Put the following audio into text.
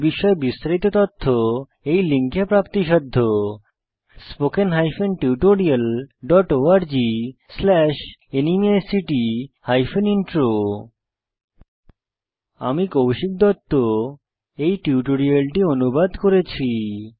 এই বিষয়ে বিস্তারিত তথ্য এই লিঙ্কে প্রাপ্তিসাধ্য spoken hyphen tutorial dot org slash NMEICT hyphen intro আমি কৌশিক দত্ত এই টিউটোরিয়ালটি অনুবাদ করেছি